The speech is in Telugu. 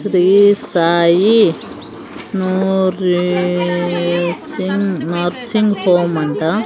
శ్రీ సాయి నోరిసింగ్ నర్సింగ్ హోమ్ అంటా --